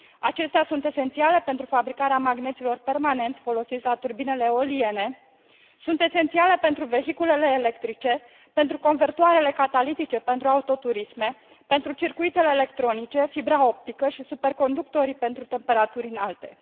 Acestea sunt esențiale pentru fabricarea magneților permanenți folosiți la turbinele eoliene, sunt esențiale pentru vehiculele electrice, pentru convertoarele catalitice pentru autoturisme, pentru circuitele electronice, fibra optică și superconductorii pentru temperaturi înalte.